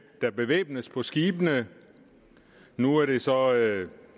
der bevæbnes på skibene nu er det så